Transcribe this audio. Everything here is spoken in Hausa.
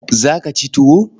Za ka ci tuwo?